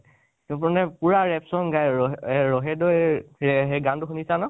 সি মানে পুৰা rap song গাই আৰু , ৰহে ৰহেদৈ যে সেই গানটো শুনিছা ন